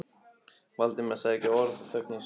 Valdimar sagði ekki orð og þögn hans var smitandi.